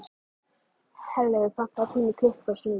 Herleifur, pantaðu tíma í klippingu á sunnudaginn.